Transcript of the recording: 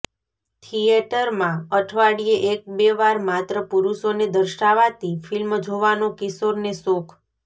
થિયેટરમાં અઠવાડિયે એક બે વાર માત્ર પુરૂષોને દર્શાવાતી ફિલ્મ જોવાનો કિશોરને શોખ